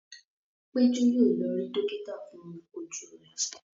Peju yíò lọ rí dókítà fún Ojú rẹ.